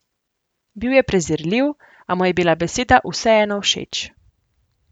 Bil je prezirljiv, a mu je bila beseda vseeno všeč.